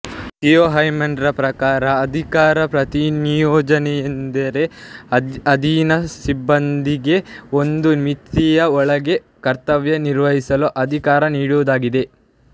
Theo ಹೈಮನ್ರವರ ಪ್ರಕಾರ ಅಧಿಕಾರ ಪ್ರತಿನಿಯೋಜನೆಯೆಂದರೆ ಅಧೀನ ಸಿಬ್ಬಂದಿಗೆ ಒಂದು ಮಿತಿಯ ಒಳಗೆ ಕರ್ತವ್ಯ ನಿರ್ವಹಿಸಲು ಅಧಿಕಾರ ನೀಡುವುದಾಗಿದೆ